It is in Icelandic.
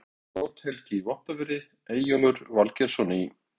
Þá var Brodd-Helgi í Vopnafirði, Eyjólfur Valgerðarson í